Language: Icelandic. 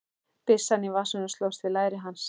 Byssan í vasanum slóst við læri hans.